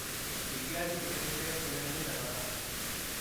kikiachi engset urerindetnotok .